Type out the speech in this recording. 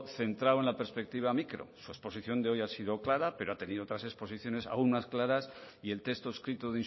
centrado en la perspectiva micro su exposición de hoy ha sido clara pero ha tenido otras exposiciones aún más claras y el texto escrito